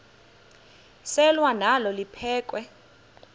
selwa nalo liphekhwe